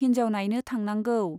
हिन्जाव नाइनो थांनांगौ।